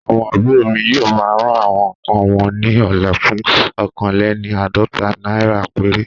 Àwọn àbúrò mi yóò ma ra àwọn nkàn won ní ọ̀la fún oókan léni àádọ́ta naira péré